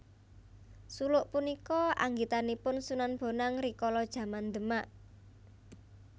Suluk punika anggitanipun Sunan Bonang rikala jaman Demak